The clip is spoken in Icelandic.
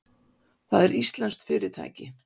Það er íslenskt fyrirtæki.